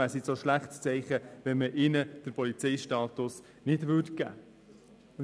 Deshalb wäre es nun ein schlechtes Zeichen, diesen den Polizeistatus nicht zuzugestehen.